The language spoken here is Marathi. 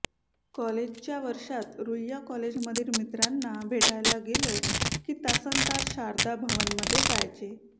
कॉलेजच्या वर्षात रुईया कॉलेजमधील मित्रांना भेटायला गेलो की तासनतास शारदा भवनमध्ये जायचे